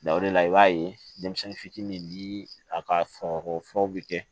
Da o de la i b'a ye denmisɛnnin fitinin ni a ka forow bɛ kɛ